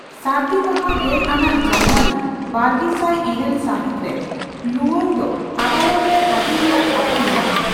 ᱥᱟᱹᱨᱫᱤ ᱢᱟᱦᱟ ᱜᱮᱞ ᱟᱱᱟᱜ ᱡᱟᱱᱩᱣᱟᱨᱤ, ᱵᱟᱨᱜᱮᱥᱟᱭ ᱤᱨᱟᱹᱞ ᱢᱟᱹᱦᱤᱛ ᱨᱮ ᱞᱩᱳᱝ ᱫᱚ ᱟᱫᱟᱞᱚᱛ ᱨᱮ ᱦᱟᱹᱡᱤᱨ ᱨᱮᱭᱟᱜ ᱠᱟᱛᱷᱟ ᱢᱮᱱᱟᱜᱼᱟ ᱾